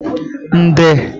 nde